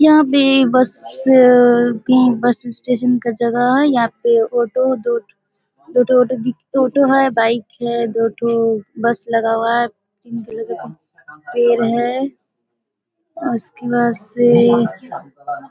यहाँ पे बस कहीं बस स्टेशन का जगह है। यहाँ पे ऑटो है दो ठो दो ठो ऑटो दिख ऑटो है बाइक है दो ठो बस लगा हुआ है पेड़ है उसके बाद से --